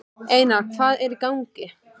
Einar, hvað hvað er í gangi?